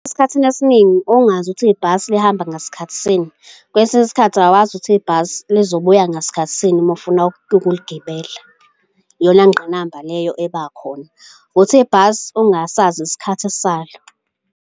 Esikhathini esiningi ongazi ukuthi ibhasi lihamba ngasikhathi sini, kwesinye isikhathi awazi ukuthi ibhasi lizobuya ngasikhathi sini uma ufuna ukuligibela. Iyona ngqinamba leyo eba khona, wukuthi ibhasi ongasazi isikhathi salo.